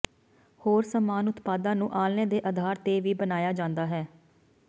ਹੋਰ ਸਮਾਨ ਉਤਪਾਦਾਂ ਨੂੰ ਆਲ੍ਹਣੇ ਦੇ ਅਧਾਰ ਤੇ ਵੀ ਬਣਾਇਆ ਜਾਂਦਾ ਹੈ